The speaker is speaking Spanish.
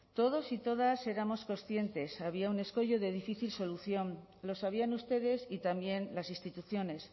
todos y todas éramos conscientes había un escollo de difícil solución lo sabían ustedes y también las instituciones